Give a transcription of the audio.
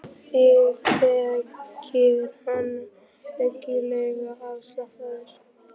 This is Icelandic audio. Þig þekkir hann ábyggilega af afspurn.